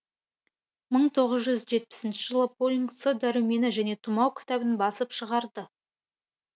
мың тоғыз жетпіснші жылы полинг с дәрумені және тұмау кітабын басып шығарды